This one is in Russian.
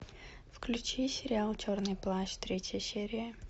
включи сериал черный плащ третья серия